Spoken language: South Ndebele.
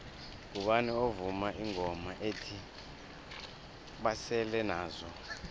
ngubani ovuma ingoma ethi basele nazo